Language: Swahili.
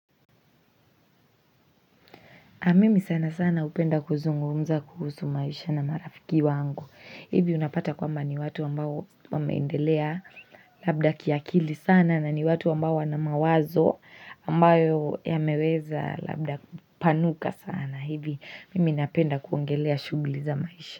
Na mimi sanasana hupenda kuzungumza kuhusu maisha na marafiki wangu. Hivi unapata kwamba ni watu ambao wameendelea labda kiakili sana na ni watu ambao wana mawazo ambayo yameweza labda kupanuka sana. Hivi mimi napenda kuongelea shughuli za maisha.